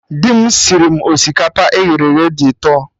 Dị m sịrị mụ osikapa eghere eghe dị ụtọ